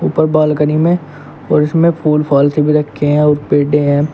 ऊपर बालकनी में और इसमें फूल फाल भी रखे हैं और पेडे हैं।